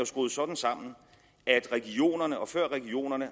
skruet sådan sammen at regionerne og før regionerne